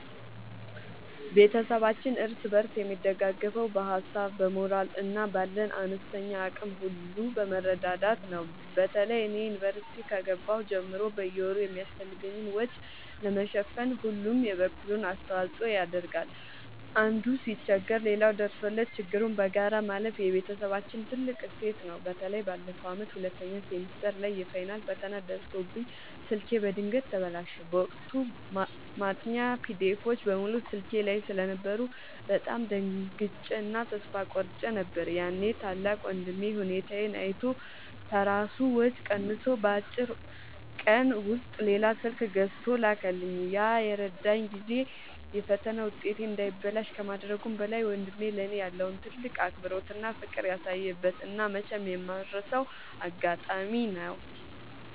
ቤተሰባችን እርስ በርስ የሚደጋገፈው በሀሳብ፣ በሞራል እና ባለን አነስተኛ አቅም ሁሉ በመረዳዳት ነው። በተለይ እኔ ዩኒቨርሲቲ ከገባሁ ጀምሮ በየወሩ የሚያስፈልገኝን ወጪ ለመሸፈን ሁሉም የበኩሉን አስተዋጽኦ ያደርጋል። አንዱ ሲቸገር ሌላው ደርሶለት ችግሩን በጋራ ማለፍ የቤተሰባችን ትልቅ እሴት ነው። በተለይ ባለፈው ዓመት ሁለተኛ ሴሚስተር ላይ የፋይናል ፈተና ደርሶብኝ ስልኬ በድንገት ተበላሸ። በወቅቱ ማጥኛ ፒዲኤፎች (PDFs) በሙሉ ስልኬ ላይ ስለነበሩ በጣም ደንግጬ እና ተስፋ ቆርጬ ነበር። ያኔ ታላቅ ወንድሜ ሁኔታዬን አይቶ ከራሱ ወጪ ቀንሶ በአጭር ቀን ውስጥ ሌላ ስልክ ገዝቶ ላከልኝ። ያ የረዳኝ ጊዜ የፈተና ውጤቴ እንዳይበላሽ ከማድረጉም በላይ፣ ወንድሜ ለእኔ ያለውን ትልቅ አክብሮትና ፍቅር ያሳየበት እና መቼም የማልረሳው አጋጣሚ ነው።